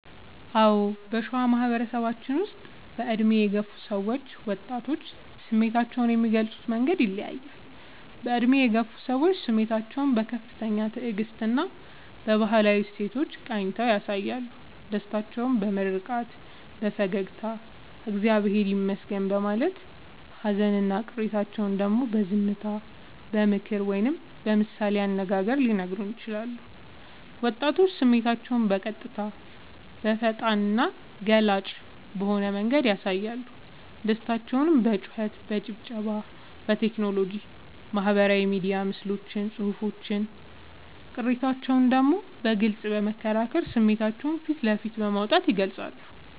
አዎ: በሸዋ ማህበረሰባችን ውስጥ በዕድሜ የገፉ ሰዎችና ወጣቶች ስሜታቸውን የሚገልጹበት መንገድ ይለያያል፦ በዕድሜ የገፉ ሰዎች፦ ስሜታቸውን በከፍተኛ ትዕግስትና በባህላዊ እሴቶች ቃኝተው ያሳያሉ። ደስታቸውን በምርቃት፣ በፈገግታና «እግዚአብሔር ይመስገን» በማለት: ሃዘንና ቅሬታቸውን ደግሞ በዝምታ: በምክር ወይም በምሳሌ አነጋገር ሊነግሩን ይችላሉ። ወጣቶች፦ ስሜታቸውን በቀጥታ: በፈጣንና ገላጭ በሆነ መንገድ ያሳያሉ። ደስታቸውን በጩኸት: በጭብጨባ: በቴክኖሎጂ (በማህበራዊ ሚዲያ ምስሎችና ጽሑፎች): ቅሬታቸውን ደግሞ በግልጽ በመከራከርና ስሜታቸውን ፊት ለፊት በማውጣት ይገልጻሉ።